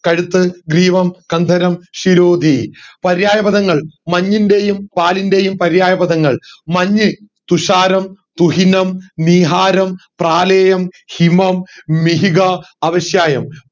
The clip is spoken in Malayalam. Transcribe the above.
കഴുത്ത് ഗ്രീവം കന്ദരം ശിരോധി പര്യായപഥങ്ങൾ മഞ്ഞിന്റെയും പാലിന്റെയും പര്യായ പാദങ്ങൾ മഞ്ഞ് തുഷാരം തുഹീനം നീഹാരം പ്രാലേയം ഹിമം മിഹിക അവിശ്യായം